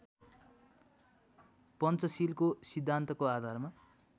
पञ्चशीलको सिद्धान्तको आधारमा